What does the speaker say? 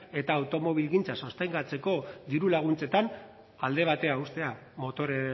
eta automobilgintza sostengatzeko diru laguntzetan alde batean uztea motore